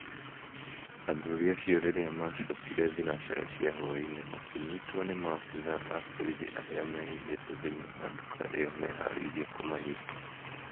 athuri acio rĩrĩa macokire thinacara cia hwai-inĩ, makĩnyitwo ni maafitha a borithi arĩa mehithĩte thĩiniĩ wa nduka iyo meharĩirie kũmanyita